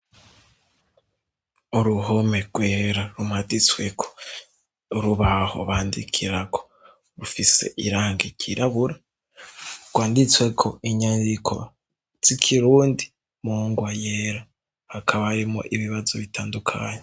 Uruhome rwera rumaditsweko urubaho bandikirako rufise irangi ryirabura, rwanditsweko inyandiko z'ikirundi mungwa yera, hakaba harimwo ibibazo bitandukanye.